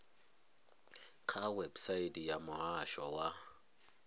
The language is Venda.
kha website ya muhasho wa